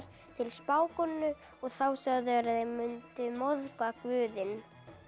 til spákonu og þá sögðu þeir þeir mundu móðga guðinn